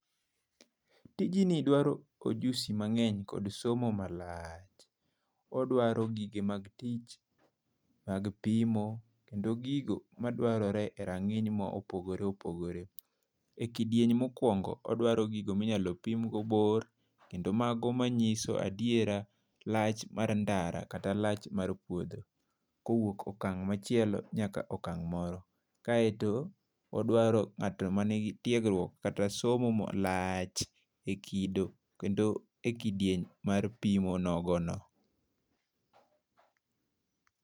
Tijni dwaro ojusi mang'eny kod somo malach. Odwaro gige mag tich mag pimo, kendo gigo madwarire e ranginy mopogore opogore. E kidieny mokwongo odwaro gigo minyalo pimgo bor kendo mago manyiso adiera lach mar ndara kata lach mar puodho, kowuok okang' machielo nyaka okang moro. Kaeto odwaro ng'ato mani gi tiegruok kata somo malach e kido kata e kidieny mar pimo nogo no.